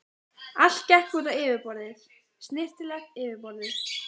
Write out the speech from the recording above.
Allt gekk út á yfirborðið, snyrtilegt yfirborðið.